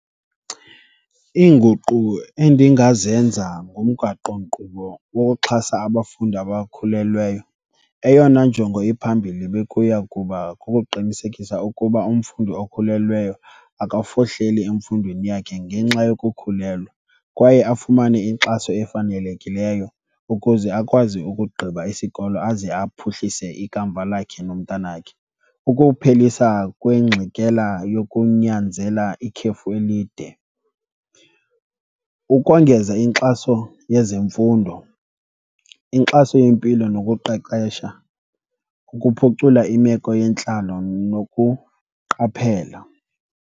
Iinguqu endingazenza ngomgaqonkqubo wokuxhasa abafundi abakhulelweyo, eyona njongo iphambili bekuya kuba kukuqinisekisa ukuba umfundi okhulelweyo akawufohleli emfundweni yakhe ngenxa yokukhulelwa kwaye afumane inkxaso efanelekileyo ukuze akwazi ukugqiba isikolo aze aphuhlise ikamva lakhe nomntanakhe. Ukuphelisa kwengxikela yokunyanzela ikhefu elide, ukongeza inkxaso yezemfundo, inkxaso yempilo nokuqeqesha, ukuphucula imeko yentlalo nokuqaphela.